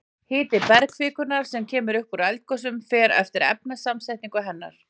Hiti bergkvikunnar sem kemur upp í eldgosum fer eftir efnasamsetningu hennar.